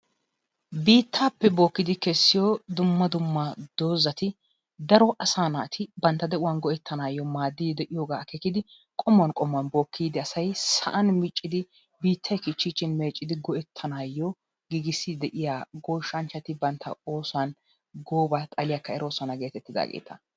Biittaappe bookkidi kessiyo dumma dumma doozati daro asaa naati bantta de'uwan go'ettanaayyo maaddi de'iyooga akeekidi qommuwan qommuwan bookki ehiidi sa'an miccidi biittay kichchiichin meeccidi go'ettanaayyo giigissi de'iya goshshanchchati bantta oosuwan gooba xaliyakka eroosona getettidaageeta.